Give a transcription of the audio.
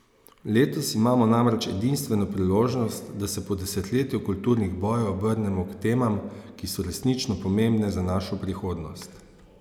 Letos imamo namreč edinstveno priložnost, da se po desetletju kulturnih bojev obrnemo k temam, ki so resnično pomembne za našo prihodnost.